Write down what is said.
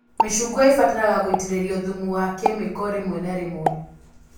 Mĩcungwa ĩbataraga gũĩtĩrĩrio thumu wa kemiko rĩmwe na rĩmwe